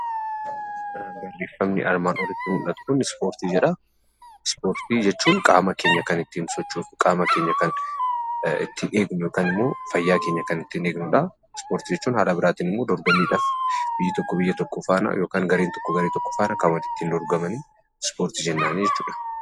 Barreeffamni armaan oliitti mul'atu kuni Ispoortii jedha. Ispoortii jechuun qaama keenya kan ittiin sochoosnu, qaama keenya kan ittiin eeggannu, fayyaa keenya kan itti eegnudha. Ispoortii jechuun karaa biraatiin immoo dorgommiidhaaf biyyi tokko biyya biraa faana yookaan gareen tokko garee tokko faana kan ittiin dorqomanii ispoortii jennaani jechuudha.